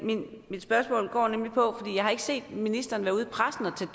jeg har ikke set ministeren være ude i pressen og tage